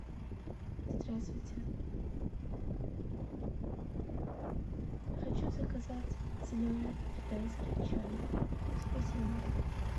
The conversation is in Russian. здравствуйте хочу заказать зеленый китайский чай спасибо